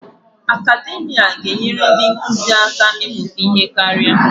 Akademia ga-enyere ndị nkụzi aka ịmụta ihe karịa.